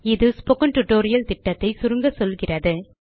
இது spoken tutorial திட்டத்தை சுருங்க சொல்கிறது